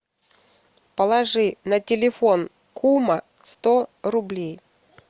положи на телефон кума сто рублей